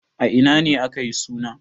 A ina ne aka yi suna?